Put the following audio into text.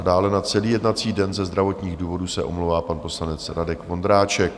A dále na celý jednací den ze zdravotních důvodů se omlouvá pan poslanec Radek Vondráček.